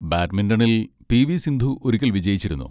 ബാഡ്മിന്റണിൽ പി.വി.സിന്ധു ഒരിക്കൽ വിജയിച്ചിരുന്നു.